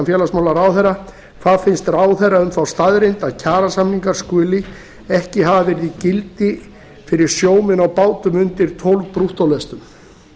félagsmálaráðherra hvað finnst ráðherra um þá staðreynd að kjarasamningar skuli ekki hafa verið í gildi fyrir sjómenn á bátum undir tólf brúttólestum